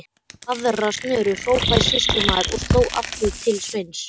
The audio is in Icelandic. Aðra snöru, hrópaði sýslumaður og sló aftur til Sveins.